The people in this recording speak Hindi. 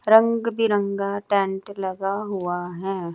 रंग बिरंगा टेंट लगा हुआ है।